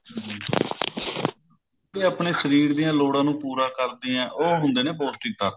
ਹਮ ਇਹ ਆਪਨੇ ਸਰੀਰ ਦੀਆਂ ਲੋੜਾਂ ਨੂੰ ਪੂਰਾ ਕਰਦੇ ਐ ਉਹ ਹੁੰਦੇ ਨੇ ਪੋਸਟਿਕ ਤੱਤ